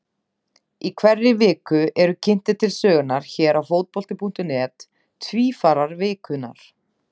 Í hverri viku eru kynntir til sögunnar hér á Fótbolti.net Tvífarar vikunnar.